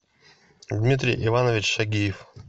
дмитрий иванович шагиев